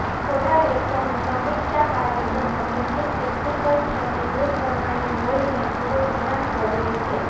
થોડા લેખોનું સમીક્ષાકાર્ય તેમજ કેટલીક ટેકનિકલ ક્ષતિ દૂર કરવાની હોઈને થોડો વિરામ જરૂરી છે